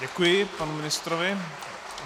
Děkuji panu ministrovi.